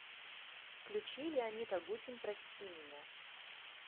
включи леонид агутин прости меня